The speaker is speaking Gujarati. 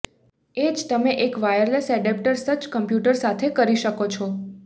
એ જ તમે એક વાયરલેસ એડેપ્ટર સજ્જ કમ્પ્યુટર સાથે કરી શકો છો